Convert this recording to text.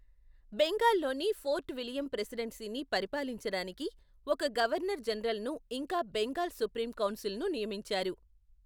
బెంగాల్లోని fort William ప్రెసిడెన్సీని పరిపాలించడానికి ఒక గవర్నర్ జనరల్ను ఇంకా బెంగాల్ సుప్రీం కౌన్సిల్ను నియమించారు.